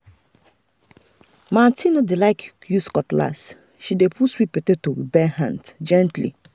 my aunty no dey like use cutlass she dey pull sweet potato with bare hand gently.